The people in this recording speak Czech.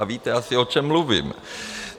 A víte asi, o čem mluvím.